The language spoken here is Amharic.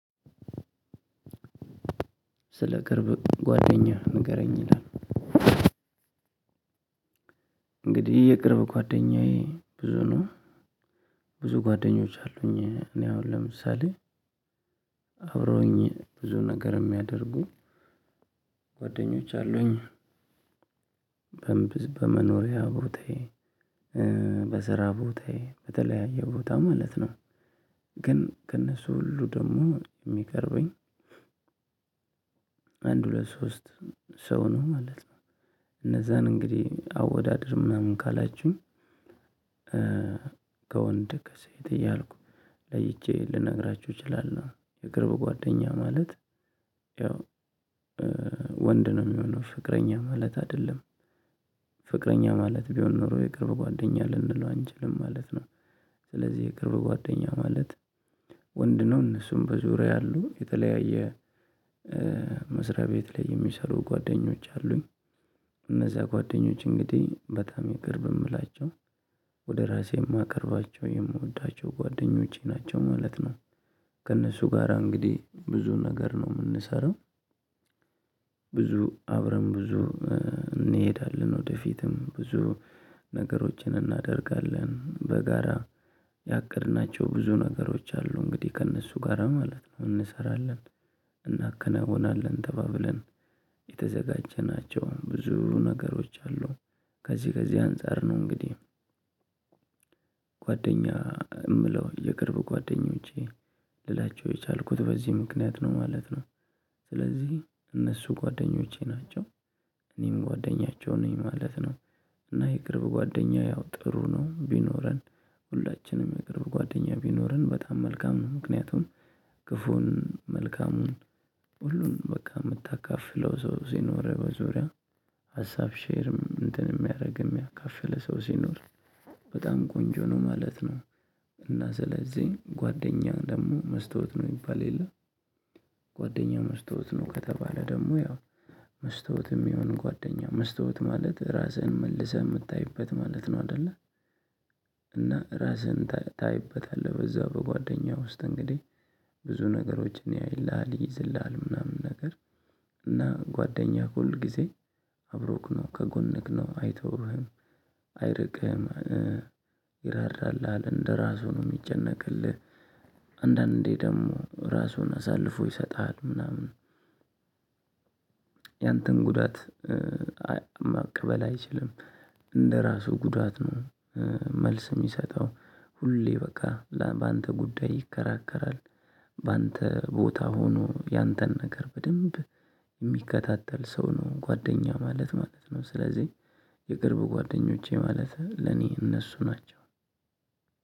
ስለ ቅርብ ጓደኛህ ንገረኝ ይላል? እንግዲህ የቅርብ ጓደኛዬ ብዙ ነው። ብዙ ጓደኞች አሉኝ እኔ አሁን ለምሳሌ አብረውኝ ብዙ ነገር የሚያደርጉ ጓደኞች አሉኝ። በመኖሪያ ቦታዬ በስራ ቦታዬ በተለያየ ቦታ ማለት ነው። ግን ከእነሱ ሁሉ ደግሞ የሚቀርበኝ አንድ ሁለት ሶሰት ሰው ነው ማለት ነው። እነዛን እንግዲህ አወዳድር ምናምን ካላችሁኝ። ከወንድ ከሴት እያልኩ ለይቼ ልነግራችሁ እችላለሁ። የቅርብ ጓደኛ ማለት ያው ወንድ ነው የሚሆነው ፍቅረኛ ማለት አይደለም። ፍቅረኛ ማለት ቢሆን ኖሮ የቅርብ ጓደኛ ልንለው አንችልም ማለትነው። ስለዚህ የቅርብ ጓደኛ ማለት ወንድ ነው እነሱም በዙሪያ ያሉ የተለያየ መስሪያ ቤት ላይ የሚሰሩ ጓደኞች አሉኝ። እነዚያ ጓደኞች እንግዲህ በጣም የቅርብ የምላቸው ወደ ራሴ የማቀርባቸው የምወዳቸው ጓደኞቼ ናቸው ማለት ነው። ከእነሱ ጋራ እንግዲህ ብዙ ነገር ነው የምንሰራው። ብዙ አብረን ብዙ እንሄዳለን ወደፊትም ብዙ ነገሮችን እናደርጋለን በጋራ ያቀድናቸው ብዙ ነገሮች አሉ እንግዲህ ከእነሱ ጋራ ማለት ነው እንሰራለን። እናከናውናለን ተባብለን የተዘጋጀናቸውን ብዙ ነገሮች አሉ። ከዚህ ከዚህ አንፃር ነው እንግዲህ ጓደኛ የምለው የቅርብ ጓደኞቼ ልላቸው የቻልኩት በዚህ ምክንያት ነው ማለት ነው። ስለዚህ እነሱ ጓደኞቼ ናቸው። እኔም ጓደኛቸው ነኝ ማለት ነው። እና ይቅርብ ጓደኛ ያው ጥሩ ነው ቢኖረን ሁላችንም የምንቅርብ ጓደኛ ቢኖረን በጣም መልካም ነው። ምክንያቱን ክፉን መልካሙን ሁሉንም በቃ የምታካፍለው ሰው ሲኖረው በዙሪያ። ሀሳብ ሼርም እንትን የሚያደርግም ያካፈለ ሰው ሲኖር በጣም ቆንጆ ነው ማለት ነው። እና ስለዚህ ጓደኛ ደግሞ መስታወት ነው የሚባል የለም። ጓደኛ መስታወት ነው ከተባለ ደግሞ ያው መስተዋትም የሆነ ጓደኛ መስተዋት ማለት ራስህን መልሰህ የምታይበት ማለት ነው አይደለ። እና ራስህን ታይበታለህ በዛው በጓደኛው ውስጥ እንግዲህ ብዙ ነገሮችን ያይልሃል ይይዝልሀል ምናምን ነገር እና ጓደኛህ ሁል ጊዜ አብሮክ ነው ከጎንክ ነው አይተውህም። አይርቅህም። ይራራል አለ እንደራሱ ነው የሚጨነቅልህ። አንዳንዴ ደግሞ ራሱን አሳልፎ ይሰጥሃል ምናምን። ያንተን ጉዳት መቀበል አይችልም። እንደራሱ ጉዳት ነው። መልስ የሚሰጠው ሁሌ በቃ በአንተ ጉዳይ ይከራከራል። በአንተ ቦታ ሆኖ ያንተን ነገር በደንብ የሚከታተል ሰው ነው ጓደኛ ማለት ማለት ነው። ስለዚህ የቅርብ ጓደኞቼ ማለት ለኔ እነሱ ናቸው።